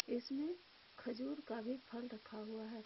इसमें खजूर का भी फल रखा हुआ है।